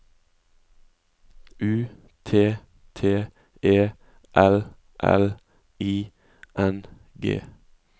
U T T E L L I N G